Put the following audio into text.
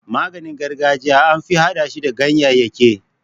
Maganin gargajiya anfi hada shi da gyanyayyaki.